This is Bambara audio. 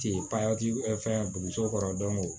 Ten fɛn b'u so kɔrɔ